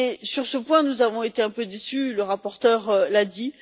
Sur ce point, nous avons été un peu déçus, le rapporteur l'a dit.